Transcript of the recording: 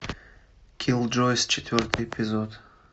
киллджойс четвертый эпизод